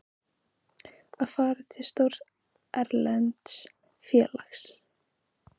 Að fara til stórs erlends félags?